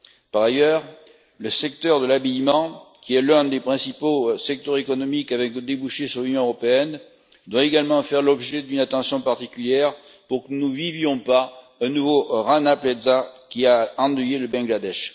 Par ailleurs, le secteur de l'habillement, qui est l'un des principaux secteurs économiques avec des débouchés sur l'Union européenne, doit également faire l'objet d'une attention particulière pour que nous ne vivions pas un nouveau Rana Plaza qui a endeuillé le Bangladesh.